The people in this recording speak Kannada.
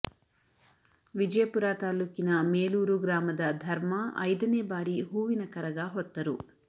ವಿಜಯಪುರ ತಾಲ್ಲೂಕಿನ ಮೇಲೂರು ಗ್ರಾಮದ ಧರ್ಮ ಐದನೇ ಬಾರಿ ಹೂವಿನ ಕರಗ ಹೊತ್ತರು